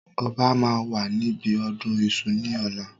Ọba máa wà níbi ọdún Iṣu ni ọ̀la.